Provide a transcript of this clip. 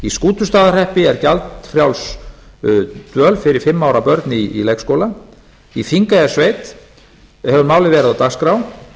skútustaðahreppi er gjaldfrjáls dvöl er fyrir fimm ára börn í leikskóla í þingeyjarsveit hefur málið verið á dagskrá